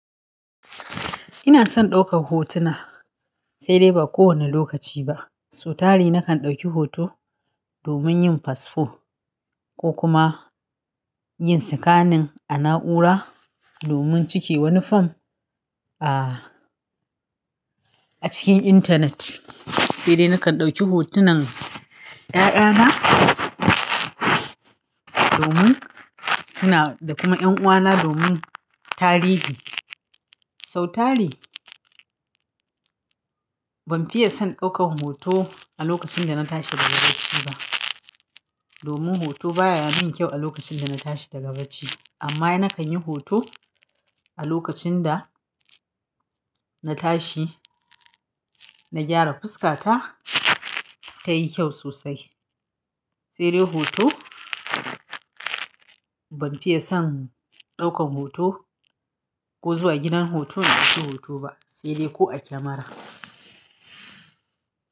Ina son ɗaukar hotuna sai dai ba kowane lokaci ba. Sautari nakan ɗauki hoto domin yin fasfo ko kuma yin tsakanin a na'ura domin cike wani fom a, a cikin intanet. Sai dai nakan ɗauki hotunan ƴaƴana domin tuna da kuma ƴan'uwana domin tarihi. Sautari ban fiye son ɗaukan hoto a lokacin da na tashi daga bacci ba domin hoto baya min kyau a lokacin da na tashi daga bacci amma nakan yi hoto a lokacin da na tashi, na gyara fuska ta, ta yi kyau sosai. Sai dai hoto ban fiye son ɗaukan hoto ko zuwa gidan hoto in dauki hoto ba sai dai ko a kyamara.